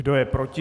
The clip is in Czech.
Kdo je proti?